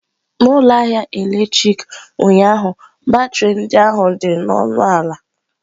N'ụlọ ahịa eletrik ụnyaahụ batrị ndị ahụ dị ọnụ ala.